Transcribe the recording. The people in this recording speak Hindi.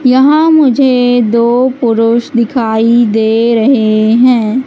यहां मुझे दो पुरुष दिखाई दे रहे हैं।